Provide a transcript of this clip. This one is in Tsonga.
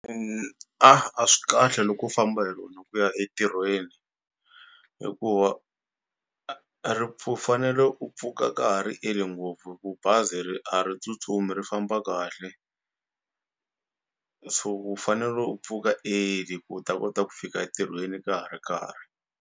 A a swi kahle loko u famba hi rona ku ya entirhweni hikuva fanele u pfuka ka ha ri early ngopfu hi ku bazi ri a ri tsutsumi ri famba kahle so u fanele u pfuka early ku u ta kota ku fika entirhweni ka ha ri karhi.